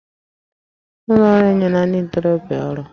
Ụlọ ọrụ enyela ndị ntorobịa ọrụ